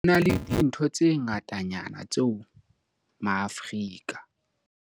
HO NA LE DINTHO tse ngatanyana tseo maAforika